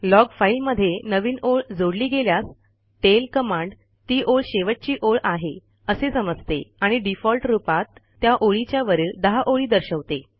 log फाईलमध्ये नवीन ओळ जोडली गेल्यास टेल कमांड ती ओळ शेवटची ओळ आहे असे समजते आणि डिफॉल्ट रूपात त्या ओळीच्या वरील १० ओळी दर्शवते